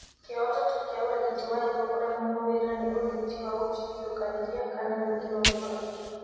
Kĩhooto tu kĩa ũrigiti wa higo kũremwo wĩra nĩ ũrigiti wa gũtigithũkanĩria kana gwĩkĩro higo ĩngĩ.